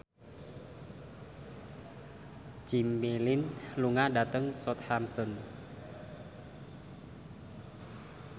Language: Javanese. Jimmy Lin lunga dhateng Southampton